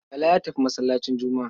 Bala ya tafi masallacin Juma'a.